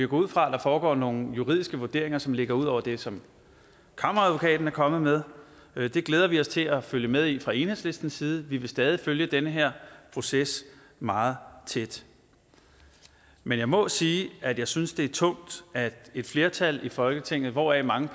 gå ud fra at der foregår nogle juridiske vurderinger som ligger ud over det som kammeradvokaten er kommet med det glæder vi os til at følge med i fra enhedslistens side vi vil stadig følge den her proces meget tæt men jeg må sige at jeg synes det er tungt at et flertal i folketinget hvoraf mange